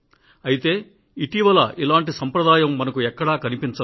అయితే ఇటీవల ఇలాంటి సంప్రదాయం మనకు ఎక్కడా కనిపించదు